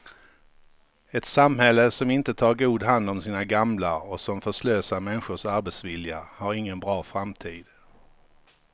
Ett samhälle som inte tar god hand om sina gamla och som förslösar människors arbetsvilja har ingen bra framtid.